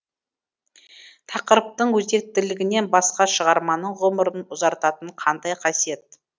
тақырыптың өзектілігінен басқа шығарманың ғұмырын ұзартатын қандай қасиет